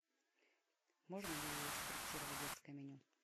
можно ли скорректировать детское меню